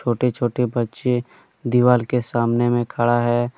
छोटे छोटे बच्चे दीवाल के सामने में खड़ा है।